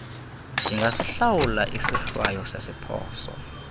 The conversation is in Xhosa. ndingasihlawula isohlwayo sesiphoso